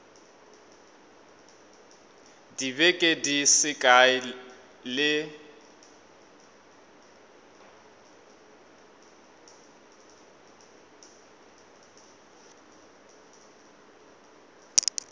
dibeke di se kae le